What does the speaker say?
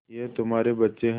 ये तुम्हारे बच्चे हैं